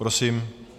Prosím.